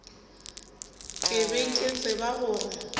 ke be ke tseba gore